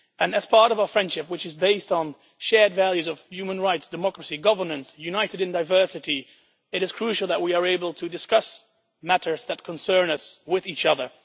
As part of our friendship, which is based on shared values of human rights, democracy and governance, united in diversity, it is crucial that we are able to discuss matters that concern us with each other.